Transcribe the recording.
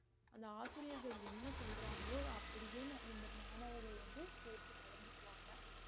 அந்த ஆசிரியர்கள் என்ன சொல்றாங்களோ அப்படியே இந்த மாணவர்கள் வந்து கேட்டு நடந்துக்குவாங்க